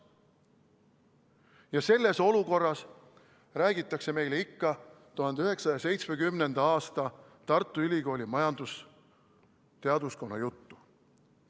Ja selles olukorras räägitakse meile ikka 1970. aasta Tartu ülikooli majandusteaduskonna juttu.